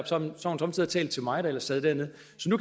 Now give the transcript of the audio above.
somme tider talt til mig når jeg sad dernede